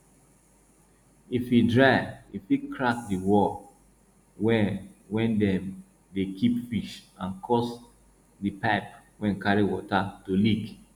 if e dry e fit crack di wall wey wey dem dey keep fish and cause di pipe wey carry water to leak